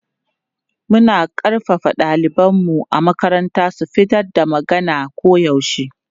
Muna ƙarfafa ɗalibanmu a makaranta su fitar da magana koyaushe.